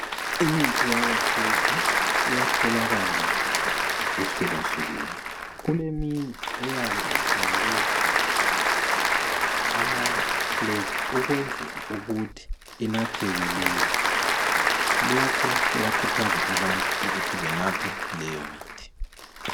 Imithi yakhathesi iyatholakala ihlukahlukene. Kuleminye eyabe ifakwe amafleva ukwenzela ukuthi inatheke lula. Lokhu kuyakhuthaza abantu ukuthi benathe leyomithi.